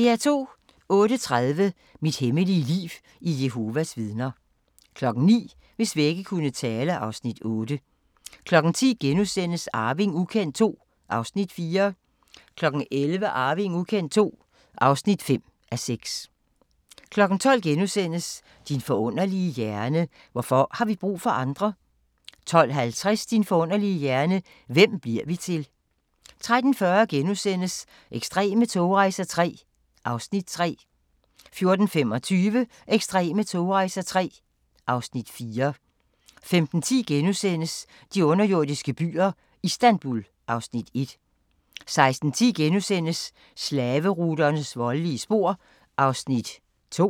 08:30: Mit hemmelige liv i Jehovas Vidner 09:00: Hvis vægge kunne tale (Afs. 8) 10:00: Arving ukendt II (4:6)* 11:00: Arving ukendt II (5:6) 12:00: Din forunderlige hjerne: Hvorfor har vi brug for andre? * 12:50: Din forunderlige hjerne: Hvem bliver vi til? 13:40: Ekstreme togrejser III (Afs. 3)* 14:25: Ekstreme togrejser III (Afs. 4) 15:10: De underjordiske byer - Istanbul (Afs. 1)* 16:10: Slaveruternes voldelige spor (2:4)*